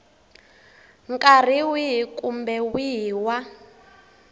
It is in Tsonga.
nkarhi wihi kumbe wihi wa